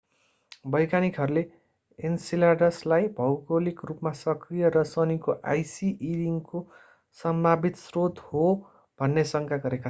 वैज्ञानिकहरूले enceladus लाई भौगोलिक रूपमा सक्रिय र शनिको icy e ring को सम्भावित स्रोत हो भन्ने शंका गरेका छन्